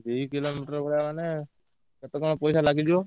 ଦୁଇ kilometre ଭଳିଆ ମାନେ କେତେ କଣ ପଇସା ଲାଗିଯିବ?